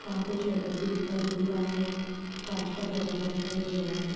वहाँ शटर भी दिखाई दे रहा है कांच का दरवाजा दिखाई दे--